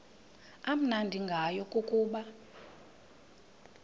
amnandi ngayo kukuba